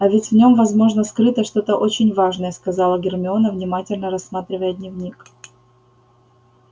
а ведь в нём возможно скрыто что-то очень важное сказала гермиона внимательно рассматривая дневник